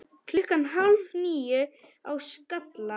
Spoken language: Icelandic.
Klukkan hálf níu á Skalla!